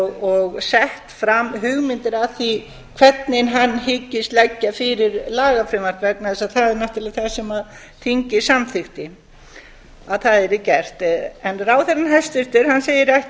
og sett fram hugmyndir að því hvernig hann hyggist leggja fyrir lagafrumvarp vegna þess að það er náttúrlega það sem þingið samþykkti að yrði gert en hæstvirtur ráðherra segir